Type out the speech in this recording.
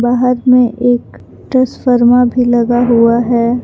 यहां में एक ट्रांसफार्मर भी लगा हुआ है।